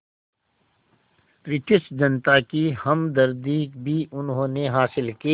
British जनता की हमदर्दी भी उन्होंने हासिल की